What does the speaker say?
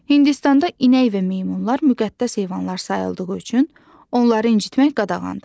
Hindistanda inək və meymunlar müqəddəs heyvanlar sayıldığı üçün onları incitmək qadağandır.